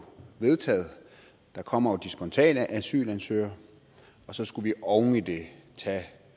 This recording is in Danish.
vedtaget der kommer jo de spontane asylansøgere og så skulle vi oven i det tage